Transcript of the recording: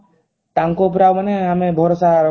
ତାଙ୍କ ଉପରେ ଆଉ ମାନେ ଆମେ ଭରଷା